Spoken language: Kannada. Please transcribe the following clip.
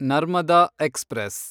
ನರ್ಮದ ಎಕ್ಸ್‌ಪ್ರೆಸ್